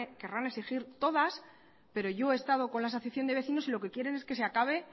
querrán exigir todas pero yo he estado con la asociación de vecinos y lo que quieren es que se acabe